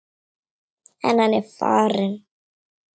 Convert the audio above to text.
En hann er farinn.